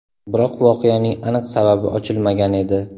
Biroq voqeaning aniq sababi ochilmagan edi.